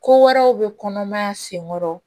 Ko wɛrɛw bɛ kɔnɔmaya senkɔrɔ